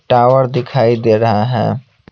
Tower दिखाई दे रहा है।